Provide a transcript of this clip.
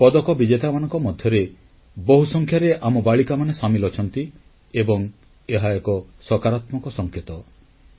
ଦେଶ ପାଇଁ ପଦକ ବିଜେତାମାନଙ୍କ ମଧ୍ୟରେ ବହୁସଂଖ୍ୟାରେ ଆମ ବାଳିକାମାନେ ସାମିଲ ଅଛନ୍ତି ଏବଂ ଏହା ଏକ ସକାରାତ୍ମକ ସଂକେତ